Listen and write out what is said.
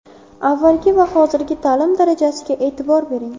Avvalgi va hozirgi ta’lim darajasiga e’tibor bering.